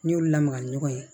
N'i y'olu lamaga ni ɲɔgɔn ye